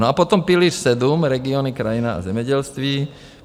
No, a potom pilíř sedm, regiony, krajina a zemědělství.